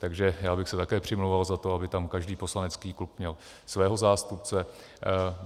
Takže já bych se také přimlouval za to, aby tam každý poslanecký klub měl svého zástupce.